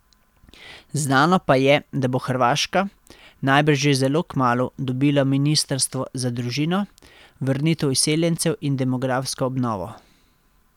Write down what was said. Znano pa je, da bo Hrvaška, najbrž že zelo kmalu, dobila ministrstvo za družino, vrnitev izseljencev in demografsko obnovo.